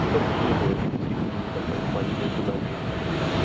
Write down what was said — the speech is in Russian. чтобы не было никаких недопанеманий между нами и другими